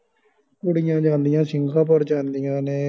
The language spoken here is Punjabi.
ਕੁੜੀਆਂ ਜਾਂਦੀਆਂ singapore ਜਾਂਦੀਆਂ ਨੇ